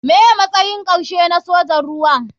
Me matsayin karshe na sojin ruwa.